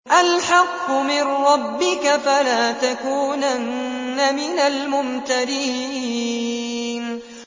الْحَقُّ مِن رَّبِّكَ ۖ فَلَا تَكُونَنَّ مِنَ الْمُمْتَرِينَ